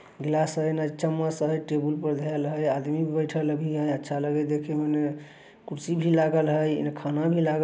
गिलास हैना चम्मच है टेबुल पे धेल है आदमी बैठएल अभी हैं। अच्छा लगे है देखे में। कुर्सी भी लागल है। इहा खाना भी लागल--